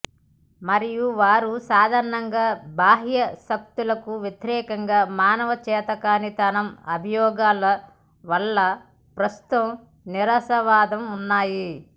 మరియు వారు సాధారణంగా బాహ్య శక్తుల వ్యతిరేకంగా మానవ చేతకానితనం అభియోగాల వల్ల ప్రస్తుతం నిరాశావాదం ఉన్నాయి